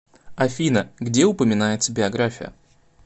афина где упоминается биография